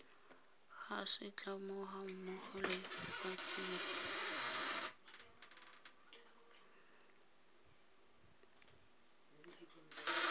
ga setlamo gammogo le batsereganyi